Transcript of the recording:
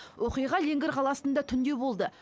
оқиға леңгір қаласында түнде болды